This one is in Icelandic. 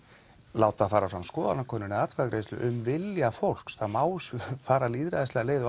láta fara fram skoðanakönnun eða atkvæðagreiðslu um vilja fólks það má fara lýðræðislega leið og